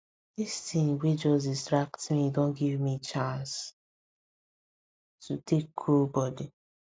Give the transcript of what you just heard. this thing wey just distract me don give me chance to take cool body